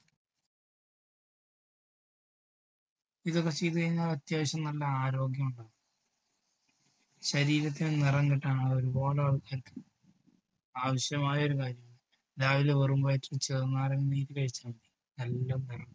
ഇതൊക്കെ ചെയ്ത് കഴിഞ്ഞാൽ അത്യാവശ്യം നല്ല ആരോഗ്യം ഉണ്ടാകും. ശരീരത്തിന് നിറം കിട്ടാൻ ആ ഒരുപാട് ആൾക്കാർക്ക് ആവശ്യമായ ഒരു മരുന്ന് രാവിലെ വെറും വയറ്റിൽ ചെറുനാരങ്ങാനീര് കഴിച്ചാൽ മതി നല്ല മാ